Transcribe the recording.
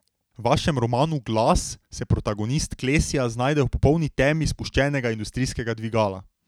V vašem romanu Glas se protagonist Klesja znajde v popolni temi spuščenega industrijskega dvigala.